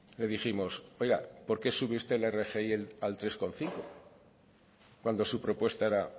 le dijimos oiga por qué sube usted la rgi al tres coma cinco cuando su propuesta era